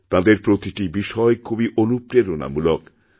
তাঁদের প্রতিটি বিষয় খুবই অনুপ্রেরণামূলক